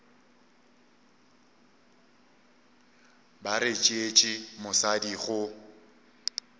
ba re tšeetše mosadi go